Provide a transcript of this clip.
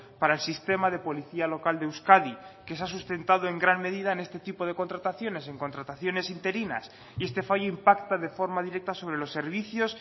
para el sistema de policía local de euskadi que se ha sustentado en gran medida en este tipo de contrataciones en contrataciones interinas y este fallo impacta de forma directa sobre los servicios